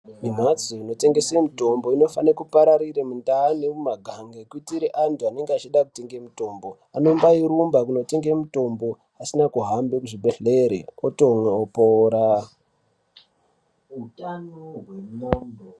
Mhatso dzinotengese mitombo dzinofanire kupararire mundau nemumagange kuitire antu anenge achida kutenga mutombo. Anombairumba kundotenga mutombo, pasina kuhambe kuzvibhedhlera.